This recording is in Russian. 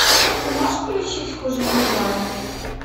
ты можешь включить хуже не бывает